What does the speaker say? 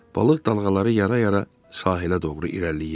Balıq dalğaları yara-yara sahilə doğru irəliləyirdi.